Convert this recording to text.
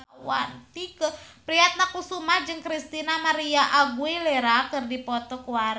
Tike Priatnakusuma jeung Christina María Aguilera keur dipoto ku wartawan